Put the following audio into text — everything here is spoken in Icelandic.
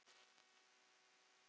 Vill einhver hjálpa okkur?